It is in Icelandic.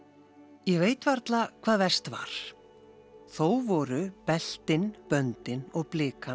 ég veit varla hvað verst var þó voru beltin böndin og